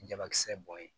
Jabakisɛ bɔ yen